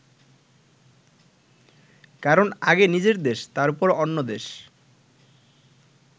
কারণ আগে নিজের দেশ, তারপর অন্য দেশ।